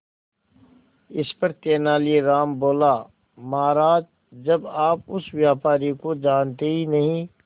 इस पर तेनालीराम बोला महाराज जब आप उस व्यापारी को जानते ही नहीं